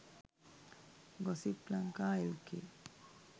gossip lanka lk